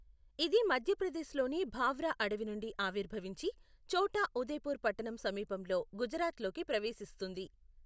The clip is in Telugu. ఇది మధ్యప్రదేశ్లోని భావ్రా అడవి నుండి ఆవిర్భవించి ఛోటా ఉదేపూర్ పట్టణం సమీపంలో గుజరాత్లోకి ప్రవేశిస్తుంది.